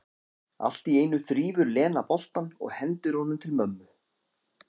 Allt í einu þrífur Lena boltann og hendir honum til mömmu.